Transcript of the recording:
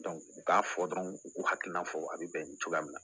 u k'a fɔ dɔrɔn u k'u hakilina fɔ a bɛ bɛn nin cogoya min na